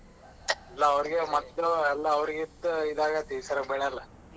ಎಲ್ಲ ಅವರಗೆ ಮತ್ತ್ ಎಲ್ಲ ಅವರ್ಗಿಂತಲೂ ಇದಾಗುತ್ತೆಈ ಸಲ ಬೆಳೆಯೆಲ್ಲ.